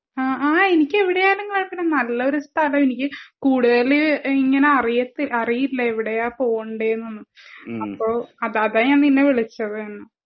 ആഹ് എനിക്ക് എവിടെയായാലും കൊഴപ്പം ഇല്ല നല്ലൊരു സ്ഥലം എനിക്ക് കൂടുതൽ ഇങ്ങനെ അറിയത്തി അറിയില്ല എവിടെയാ പോവേണ്ട എന്ന് അപ്പൊ അതാ ഞാൻ നിന്നെ വിളിച്ചത്